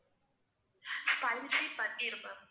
spicy paneer ma'am